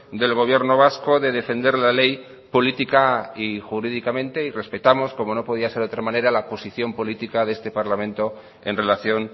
del gobierno vasco de defender la ley política y jurídicamente y respetamos como no podía ser de otra manera la posición política de este parlamento en relación